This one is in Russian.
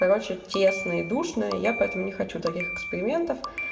короче тесно и душно и я поэтому не хочу таких экспериментов